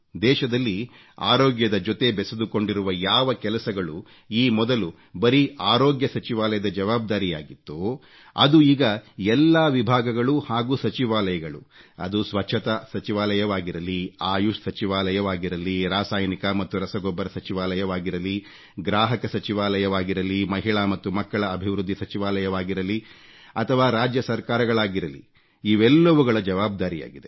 ದೇಶದಲ್ಲಿ ಆರೋಗ್ಯದ ಜೊತೆ ಬೆಸೆದುಕೊಂಡಿರುವ ಯಾವ ಕೆಲಸಗಳು ಈ ಮೊದಲು ಬರೀ ಅರೋಗ್ಯ ಸಚಿವಾಲಯದ ಜವಾಬ್ದಾರಿಯಾಗಿತ್ತೋ ಅದು ಈಗ ಎಲ್ಲಾ ವಿಭಾಗಗಳು ಹಾಗೂ ಸಚಿವಾಲಯಗಳು ಅದು ಸ್ವಚ್ಚತಾ ಸಚಿವಾಲಯವಾಗಿರಲಿ ಆಯುಷ್ ಸಚಿವಾಲಯವಾಗಿರಲಿ ರಾಸಾಯನಿಕ ಮತ್ತು ರಸಗೊಬ್ಬರ ಸಚಿವಾಲಯವಾಗಿರಲಿ ಗ್ರಾಹಕ ಸಚಿವಾಲಯವಾಗಿರಲಿ ಮಹಿಳಾ ಮತ್ತು ಮಕ್ಕಳ ಅಭಿವೃದ್ಧಿ ಸಚಿವಾಲಯವಾಗಿರಲಿ ಅಥವಾ ರಾಜ್ಯ ಸರ್ಕಾರಗಳಾಗಿರಲಿ ಇವೆಲ್ಲವುಗಳ ಜವಾಬ್ದಾರಿಯಾಗಿದೆ